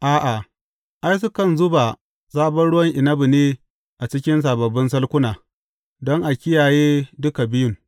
A’a, ai, sukan zuba sabon ruwan inabi ne a cikin sababbin salkuna, don a kiyaye dukan biyun.